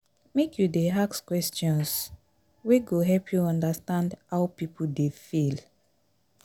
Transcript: make you dey ask questions wey go help you understand how pipo dey feel.